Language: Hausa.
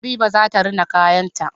Habiba zata rina kayan ta